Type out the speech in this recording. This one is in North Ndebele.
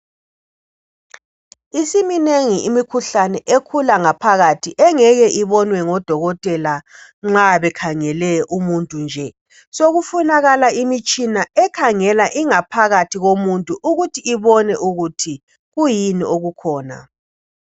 Isiminengi imikhuhlane ekhula ngaphakathi engeke ibonwe ngodokotela nxa bekhangele umuntu nje sokufunakala imitshina ekhangela ingaphakathi yomuntu ukuthi ibone ukuthi kuyini okukhona.